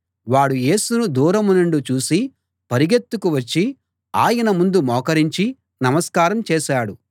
వాడు యేసును దూరం నుండి చూసి పరుగెత్తుకు వచ్చి ఆయన ముందు మోకరించి నమస్కారం చేశాడు